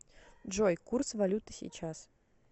джой курс валюты сейчас